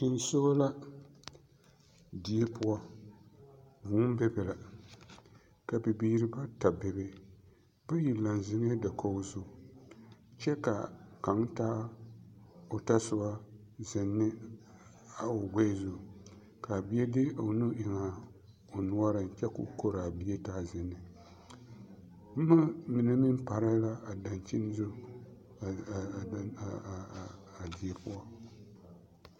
Tensogɔ la die poɔ, vūū bebe la ka bibiiri bata bebe, bayi laŋ zeŋɛɛ dakogi zu kyɛ ka kaŋ taa o tasoba zeŋ ne a o gbɛɛ zu k'a bie de o nu eŋ a o noɔreŋ kyɛ k'o koraa bie taa zenne, boma mine meŋ pare la a dankyini zu a die poɔ.